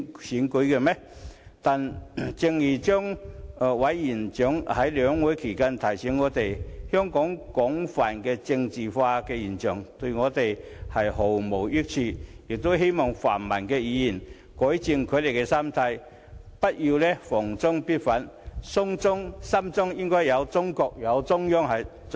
然而，正如張委員長在兩會期間提醒我們，香港廣泛的政治化現象對我們毫無益處，他希望泛民議員可以改正他們的心態，不要逢中必反，心中要有中國或中央才是。